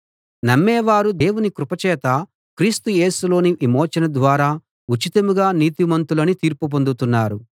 నమ్మేవారు దేవుని కృప చేతా క్రీస్తు యేసులోని విమోచన ద్వారా ఉచితంగా నీతిమంతులని తీర్పు పొందుతున్నారు